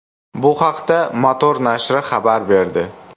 Bu haqda Motor nashri xabar berdi .